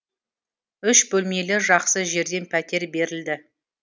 үш бөлмелі жақсы жерден пәтер берілді